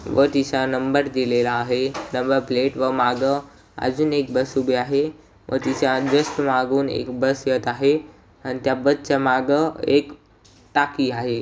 व तिसरा नंबर दिलेला आहे नंबर प्लेट व मागं अजून एक बस उभी आहे व तिच्या जस्ट मागून एक बस येत आहे आणि त्या बसच्या मागं एक टाकी आहे.